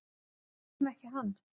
Hvers vegna ekki hann?